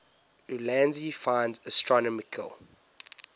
ulansey finds astronomical